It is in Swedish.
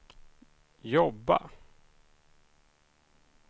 jobba